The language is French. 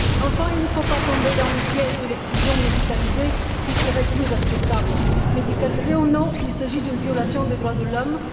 Enfin, il ne faut pas tomber dans le piège de l'excision médicalisée, qui serait plus acceptable médicalisée ou non, il s'agit d'une violation des droits de l'homme.